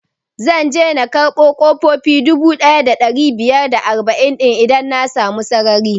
Zan je na karɓo ƙofofi dubu ɗaya da ɗari biyar da arba'in din idan na samu sarari